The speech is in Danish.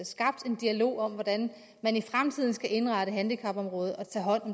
skabt en dialog om hvordan man i fremtiden skal indrette handicapområdet og tage hånd